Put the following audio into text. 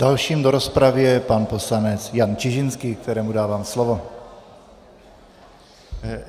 Dalším do rozpravy je pan poslanec Jan Čižinský, kterému dávám slovo.